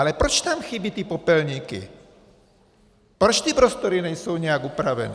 Ale proč tam chybí ty popelníky, proč ty prostory nejsou nějak upraveny?